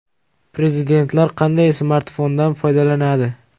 Prezidentlar qanday smartfondan foydalanadi?.